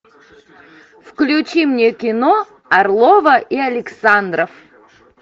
включи мне кино орлова и александров